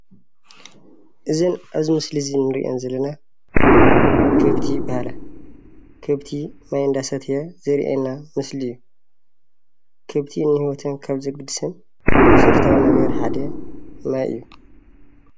እዚ ኣብዚ ምሶሊ ዝረአየና ከፍቲ ይበሃሊኣ ከፍቲ ማይ እና ሰተዩ ዘርኤና ምስሊ እዩ። ከፍቲ ንሂወተን ዘገድሰን መሰረታዊ ሓደ ማይ እዩ።